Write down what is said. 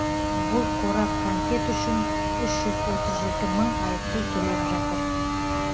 бұл қорап конфет үшін үш жүз отыз жеті мың айыппұл төлеп жатыр